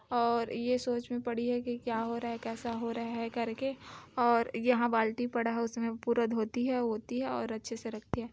और ये सोच में पड़ी है की क्या हो रहा हैं कैसा हो रहा है करके और यहाँ बाल्टी पड़ा है उसमे पूरा धोती है वोती है और अच्छे से रखती है ।